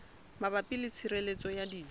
mabapi le tshireletso ya dijo